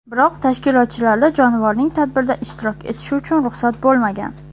Biroq tashkilotchilarda jonivorning tadbirda ishtirok etishi uchun ruxsat bo‘lmagan.